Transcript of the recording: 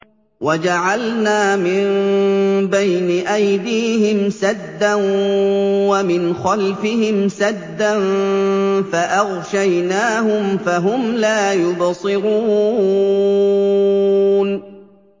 وَجَعَلْنَا مِن بَيْنِ أَيْدِيهِمْ سَدًّا وَمِنْ خَلْفِهِمْ سَدًّا فَأَغْشَيْنَاهُمْ فَهُمْ لَا يُبْصِرُونَ